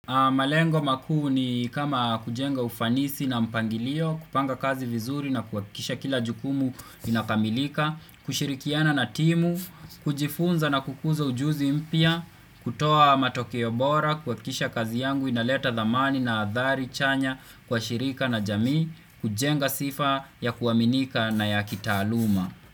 Malengo makuu ni kama kujenga ufanisi na mpangilio, kupanga kazi vizuri na kuhakikisha kila jukumu linakamilika, kushirikiana na timu, kujifunza na kukuza ujuzi mpya, kutoa matokeo bora, kuhakikisha kazi yangu inaleta dhamani na adhari chanya kwa shirika na jamii, kujenga sifa ya kuaminika na ya kitaaluma.